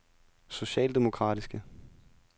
socialdemokratiske